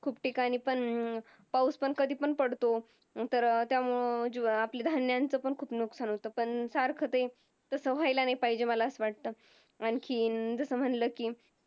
खूप ठिकाणी पण अं पाऊस पण कधी पण पडतो. आणि त्यामुळं आपलं धान्याचं पण खूप नुकसान होतं पण त्यामुळं तसं व्हायला नाही पाहिजे असं मला वाटतं. आणखीन जसं म्हटलं की